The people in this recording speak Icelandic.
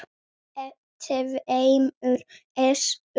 tveimur essum.